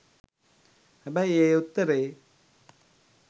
හැබැයි ඒ උත්තරයෙ